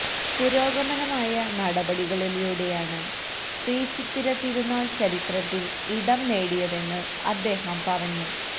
പുരോഗമനമായ നടപടികളിലൂടെയാണ് ശ്രീ ചിത്തരിതിരുനാൾ ചരിത്രത്തിൽ ഇടം നേടിയതെന്ന് അദ്ദേഹം പറഞ്ഞു